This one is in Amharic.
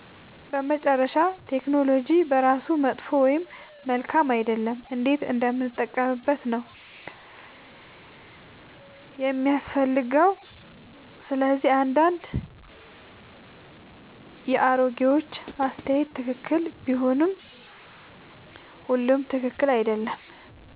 በመጨረሻ ቴክኖሎጂ በራሱ መጥፎ ወይም መልካም አይደለም፤ እንዴት እንደምንጠቀምበት ነው የሚያስፈልገው። ስለዚህ አንዳንድ የአሮጌዎች አስተያየት ትክክል ቢሆንም ሁሉም ትክክል አይደለም።